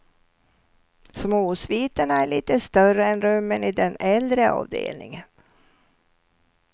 Småsviterna är lite större än rummen i den äldre avdelningen.